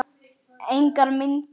Engar myndir.